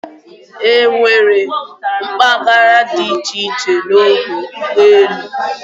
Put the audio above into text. E nwere mpaghara di iche-iche n'ọdọ ụgbọelu.